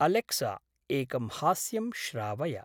Alexa एकं हास्यं श्रावय।